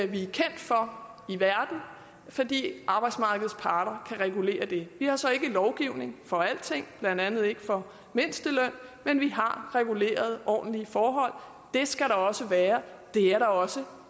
vi er kendt for i verden fordi arbejdsmarkedets parter kan regulere det vi har så ikke lovgivning for alting blandt andet ikke for mindsteløn men vi har regulerede ordentlige forhold det skal der også være og det er der også